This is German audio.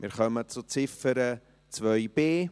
Wir kommen zur Ziffer 2b.